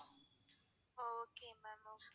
okay ma'am okay